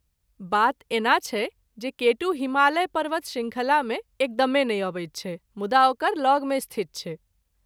बात एना छै जे केटू हिमालय पर्वत शृङ्खलामे एकदमे नहि अबैत छै मुदा ओकरा लगमे स्थित छै।